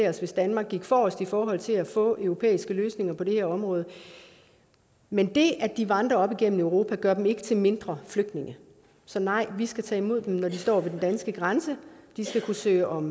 at danmark går forrest i forhold til at få europæiske løsninger på det her område men det at de vandrer op igennem europa gør dem ikke mindre flygtninge så nej vi skal tage imod dem når de står ved den danske grænse og de skal kunne søge om